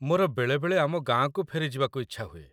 ମୋର ବେଳେବେଳେ ଆମ ଗାଁକୁ ଫେରିଯିବାକୁ ଇଚ୍ଛା ହୁଏ।